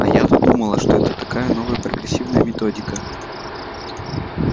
а я то думала что это такая новая прогрессивная методика